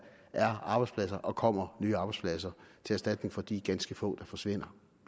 er arbejdspladser og kommer nye arbejdspladser til erstatning for de ganske få der forsvinder